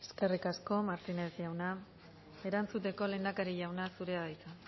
eskerrik asko eskerrik asko martínez jauna erantzuteko lehendakari jauna zurea da hitza